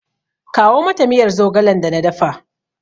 Kawo mata miyar zogalen da na dafa!